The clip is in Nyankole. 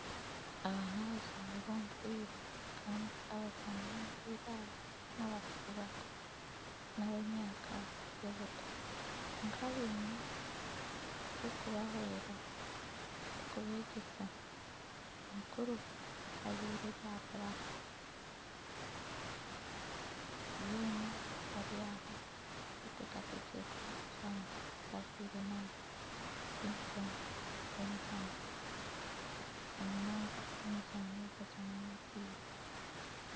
Aba nabazani bomupiira Kandi abazani b'omipiira aba nabakiri bato nabemyaka yobuto kwonka bine orukubahwera arukubegyesa nimukuru ajwire ebya black boona bari aho betekatekire kuza kuzana bajwire na uniform z'emizano namunonga emizano eyokuzana omupira.